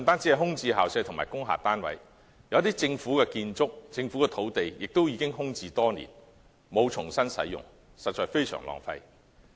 除空置校舍及工廈單位外，有政府建築物及土地亦空置多年，沒有重新使用，實在非常浪費。